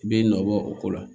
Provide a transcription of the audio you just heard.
I b'i nɔ bɔ o ko la